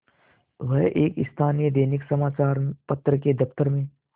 वह एक स्थानीय दैनिक समचार पत्र के दफ्तर में